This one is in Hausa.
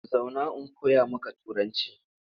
Zauna in koya maka Turanci!